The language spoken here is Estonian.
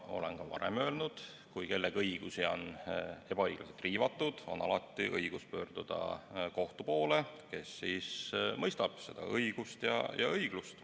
Olen seda juba varem öelnud, et kui kellegi õigusi on ebaõiglaselt riivatud, on tal alati õigus pöörduda kohtu poole, kes mõistab õigust ja õiglust.